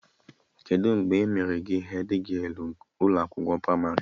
Kedụ mgbe e mere gị hedgialụ n'ụlọ akwụkwọ pramarị?